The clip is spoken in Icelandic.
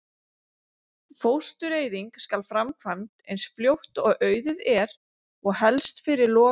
Fóstureyðing skal framkvæmd eins fljótt og auðið er og helst fyrir lok